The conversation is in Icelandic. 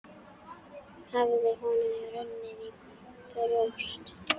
Hafði honum runnið í brjóst?